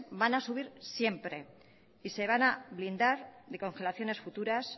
van a subir siempre y se van a blindar de congelaciones futuras